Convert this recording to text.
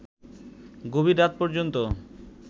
গভীর রাত পর্যন্ত